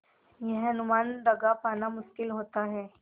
यह अनुमान लगा पाना मुश्किल होता है